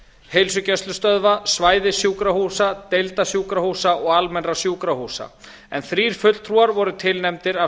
heilsugæslustöðva svæðissjúkrahúsa deildasjúkrahúsa og almennra sjúkrahúsa en þrír fulltrúar voru tilnefndir af